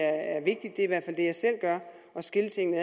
er i hvert fald det jeg selv gør at skille tingene